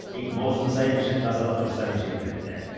тек маусым сайын ішін тазалап тұрсаңыз жеткілікті